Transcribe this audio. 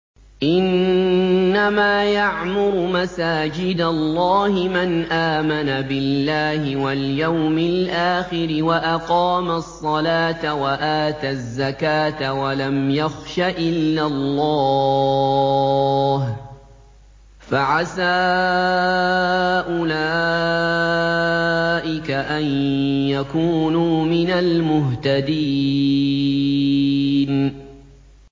إِنَّمَا يَعْمُرُ مَسَاجِدَ اللَّهِ مَنْ آمَنَ بِاللَّهِ وَالْيَوْمِ الْآخِرِ وَأَقَامَ الصَّلَاةَ وَآتَى الزَّكَاةَ وَلَمْ يَخْشَ إِلَّا اللَّهَ ۖ فَعَسَىٰ أُولَٰئِكَ أَن يَكُونُوا مِنَ الْمُهْتَدِينَ